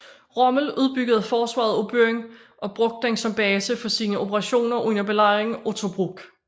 Rommel udbyggede forsvaret af byen og brugte den som base for sine operationer under Belejringen af Tobruk